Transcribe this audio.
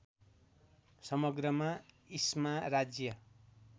समग्रमा इस्मा राज्य